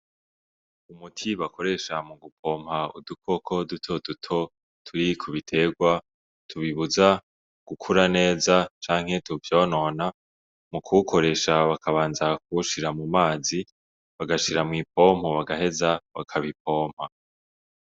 Umuti bakoresha mu gupompa udukoko duto duto turi ku biterwa tubibuza gukura neza canke tuvyonona, mu kuwukoresha bakabanza kuwushira mu mazi bagashira mw'ipompo bagaheza bakabipompa.